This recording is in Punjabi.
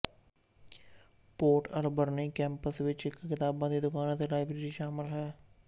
ਪੋਰਟ ਅਲਬਰਨੀ ਕੈਂਪਸ ਵਿੱਚ ਇੱਕ ਕਿਤਾਬਾਂ ਦੀ ਦੁਕਾਨ ਅਤੇ ਲਾਇਬਰੇਰੀ ਸ਼ਾਮਲ ਹੈ